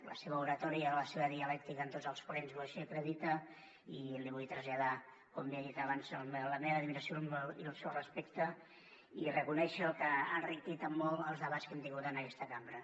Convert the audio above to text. la seva oratòria i la seva dialèctica en tots els plens així ho acrediten i li vull traslladar com li he dit abans la meva admiració i el meu respecte i reconèixer que ha enriquit en molt els debats que hem tingut en aquesta cambra